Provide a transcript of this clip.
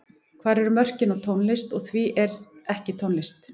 Hvar eru mörkin á tónlist og því sem er ekki tónlist?